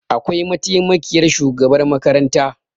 Akwai mataimakiyar shugabar makaranta